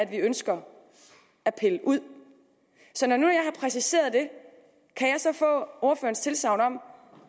vi ønsker at pille ud så når nu jeg har præciseret det kan jeg så få ordførerens tilsagn om